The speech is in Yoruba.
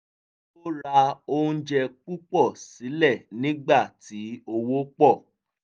ó rà oúnjẹ púpọ̀ sílẹ̀ nígbà tí owó pọ̀